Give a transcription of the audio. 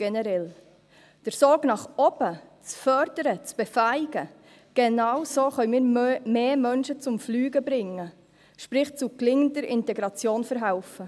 Den Sog nach oben zu fördern, zu befähigen – genau so können wir mehr Menschen zum Fliegen bringen, sprich zu gelingender Integration verhelfen.